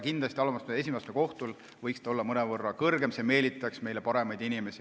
Kindlasti võiks see alama astme, esimese astme kohtus olla mõnevõrra kõrgem, see meelitaks meile paremaid inimesi.